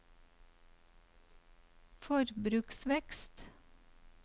forbruksvekst